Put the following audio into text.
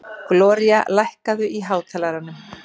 Gloría, lækkaðu í hátalaranum.